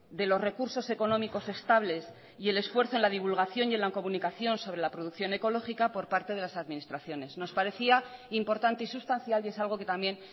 de los recursos económicos estables y el esfuerzo en la divulgación y en la comunicación sobre la producción ecológica por parte de las administraciones nos parecía importante y sustancial y es algo que también